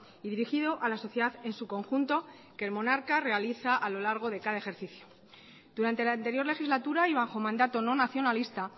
y dirigido a la sociedad en su conjunto que el monarca realiza a lo largo de cada ejercicio durante la anterior legislatura y bajo mandato no nacionalista